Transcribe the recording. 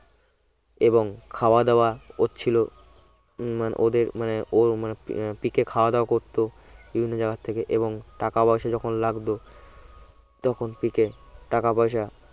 এবং খাওয়া দাওয়া ওরছিল উম মানে ওদের মানে অর মানে মানে পিকে খাওয়া-দাওয়া করত বিভিন্ন জায়গা থেকে এবং টাকা পয়সা যখন লাগতো তখন পিকে টাকা পয়সা